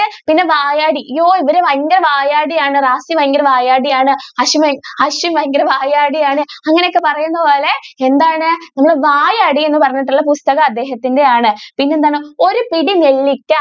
പിന്നെ വായാടി ഈ ഇവര് വയങ്കര വായാടി ആണ് വയങ്കര വായാടി ആണ് അശ്വി~അശ്വിൻ ഭയങ്കര വായാടി ആണ് അങ്ങനെ ഒക്കെ പറയുന്ന പോലെ എന്താണ് നമ്മൾ വായാടി എന്ന് പറഞ്ഞിട്ടുള്ള പുസ്തകം അദ്ദേഹത്തിന്റെ ആണ്. പിന്നെ എന്താണ് ഒരു പിടി നെല്ലിക്ക